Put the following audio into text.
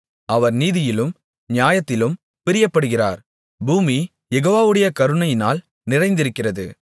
அவர் நீதியிலும் நியாயத்திலும் பிரியப்படுகிறார் பூமி யெகோவாவுடைய கருணையினால் நிறைந்திருக்கிறது